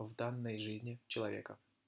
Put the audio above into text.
в данной жизни человека